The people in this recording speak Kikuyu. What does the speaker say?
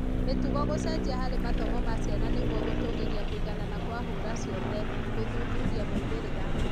Mĩtugo gũcenjia harĩ mathomo ma ciana nĩguo gũtũgĩria kũiganana kwa hũra ciothe, gũthuthuria moimĩrĩra